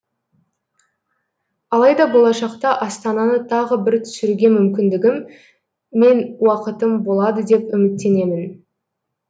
алайда болашақта астананы тағы бір түсіруге мүмкіндігім мен уақытым болады деп үміттенемін